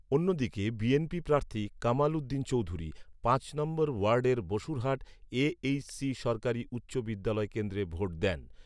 অন্যদিকে বিএনপি প্রার্থী কামাল উদ্দিন চৌধুরী পাঁচ নম্বর ওয়ার্ডের বসুরহাট এ এইচ সি সরকারী উচ্চ বিদ্যালয় কেন্দ্রে ভোট দেন